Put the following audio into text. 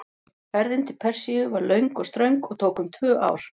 Ferðin til Persíu var löng og ströng og tók um tvö ár.